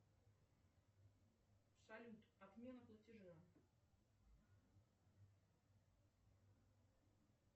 салют отмена платежа